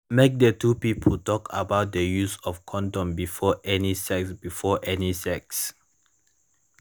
condoms na the only way wey de protects people for getting stis